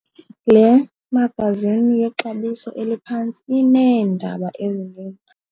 Le magazini yexabiso eliphantsi ineendaba ezininzi.